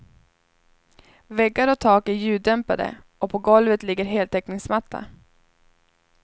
Väggar och tak är ljuddämpade och på golvet ligger heltäckningsmatta.